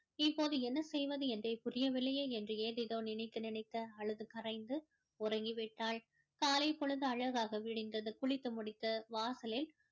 இப்போது என்ன செய்வது என்றே புரியவில்லையே என்று ஏதேதோ நினைத்து நினைத்து அழுது கரைந்து உறங்கிவிட்டாள் காலை பொழுது அழகாக விடிந்தது குளித்து முடித்து வாசலில்